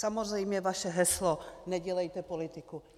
Samozřejmě vaše heslo "nedělejte politiku".